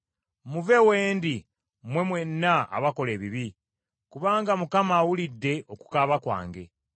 Muve we ndi mmwe mwenna abakola ebibi; kubanga Mukama awulidde okukaaba kwange.